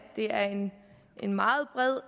det er en meget bred